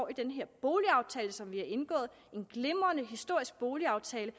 i den her boligaftale som vi har indgået en glimrende historisk boligaftale